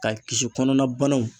Ka kisi kɔnɔna banaw